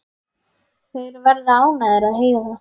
Þeir verða ánægðir að heyra það.